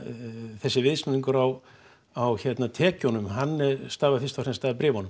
þessi viðsnúningur á á tekjunum hann stafi fyrst og fremst af bréfunum